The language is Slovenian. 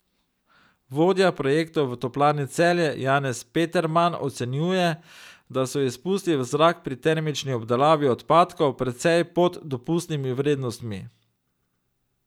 Vodja projektov v Toplarni Celje Janez Peterman ocenjuje, da so izpusti v zrak pri termični obdelavi odpadkov precej pod dopustnimi vrednostmi.